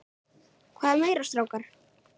Hvað meira strákar?